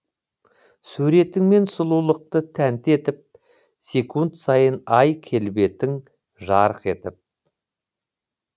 суретіңмен сұлулықты тәнті етіп секунд сайын ай келбетің жарқ етіп